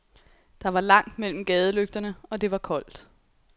Der var langt mellem gadelygterne og det var koldt.